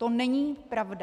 To není pravda!